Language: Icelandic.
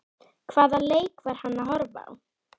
Hvaða leik var hann að horfa á?